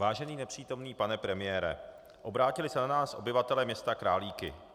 Vážený nepřítomný pane premiére, obrátili se na nás obyvatelé města Králíky.